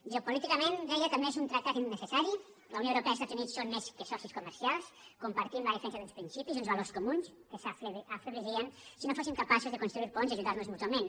geopolíticament deia també que és un tractat innecessari la unió europea i els estats units són més que socis comercials compartim la defensa d’uns principis i uns valors comuns que s’afeblirien si no fóssim capaços de construir ponts i ajudar nos mútuament